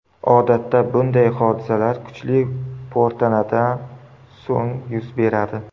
Odatda bunday hodisalar kuchli po‘rtanadan so‘ng yuz beradi.